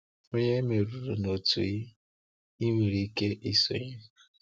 Ònye e merụrụ na otu ị ị nwere ike isonye.